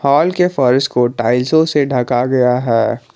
Hall के फर्श को टाइल्सो से ढका गया है।